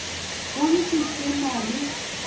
go ntši se na le